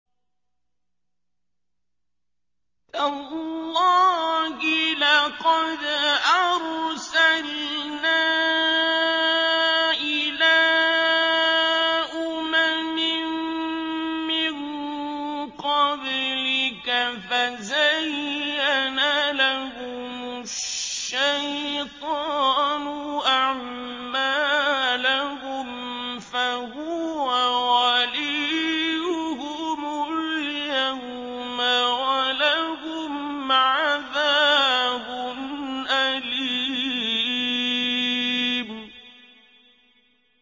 تَاللَّهِ لَقَدْ أَرْسَلْنَا إِلَىٰ أُمَمٍ مِّن قَبْلِكَ فَزَيَّنَ لَهُمُ الشَّيْطَانُ أَعْمَالَهُمْ فَهُوَ وَلِيُّهُمُ الْيَوْمَ وَلَهُمْ عَذَابٌ أَلِيمٌ